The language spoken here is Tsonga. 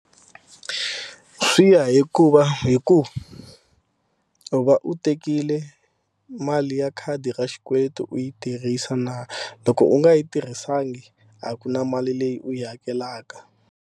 Swi ya hikuva hi ku u va u tekile mali ya khadi ra xikweleti u yi tirhisa na loko u nga yi tirhisanga a ku na mali leyi u yi hakelaka.